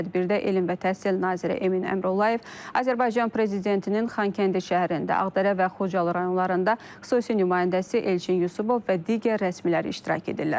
Tədbirdə elm və təhsil naziri Emin Əmrullayev, Azərbaycan prezidentinin Xankəndi şəhərində, Ağdərə və Xocalı rayonlarında xüsusi nümayəndəsi Elçin Yusubov və digər rəsmilər iştirak edirlər.